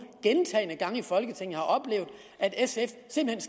gentagne gange i folketinget har oplevet at sf simpelt